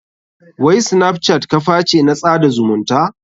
Wai snapchat kaface na tsada zumunta?